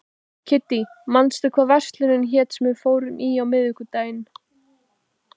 Kiddý, manstu hvað verslunin hét sem við fórum í á miðvikudaginn?